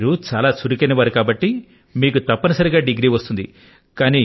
మీరు చాలా చురుకైన వారు కాబట్టి డిగ్రీ అయితే సంపాదించేయగలుగుతారు